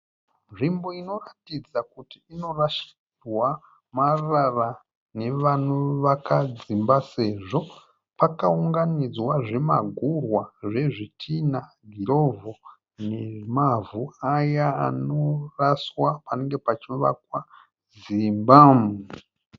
Nzvimbo inoratidza kuti inorashirwa marara nevanovaka dzimba sezvo pakaunganidzwa zvimagumhwa zvezvitinha nemavhu aya anoraswa panenge pachivakwa dzimba.